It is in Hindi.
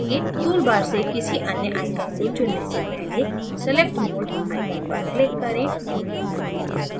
toolbar से किसी any icon को चुनने से पहले select mode icon पर click करें